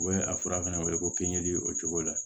U bɛ a fɔra fana ko k'i ɲɛ dili o cogo la